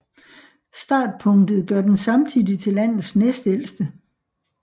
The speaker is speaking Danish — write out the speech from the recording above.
Startpunktet gør den samtidig til landets næstældste